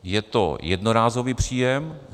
Je to jednorázový příjem.